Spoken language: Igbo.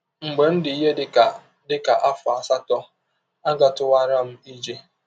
Mgbe m dị ihe dị ka dị ka afọ asatọ, agatụwara m ije.